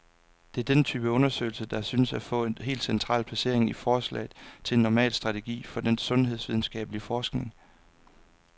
Det er denne type undersøgelser, der synes at få et helt central placering i forslaget til en normal strategi for den sundhedsvidenskabelig forskning.